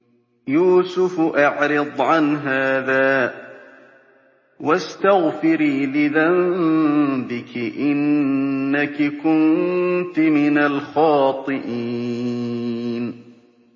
يُوسُفُ أَعْرِضْ عَنْ هَٰذَا ۚ وَاسْتَغْفِرِي لِذَنبِكِ ۖ إِنَّكِ كُنتِ مِنَ الْخَاطِئِينَ